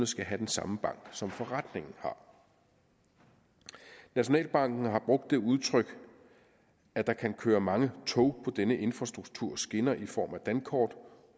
skulle have den samme bank som forretningen har nationalbanken har brugt det udtryk at der kan køre mange tog på denne infrastrukturs skinner i form af dankort